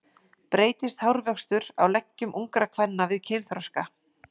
Breytist hárvöxtur á leggjum ungra kvenna við kynþroska?